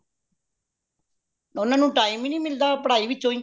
ਓਹਨਾ ਨੂੰ time ਹੀ ਨੀ ਮਿਲਦਾ ਪੜਾਇ ਵਿੱਚੋ ਹੀ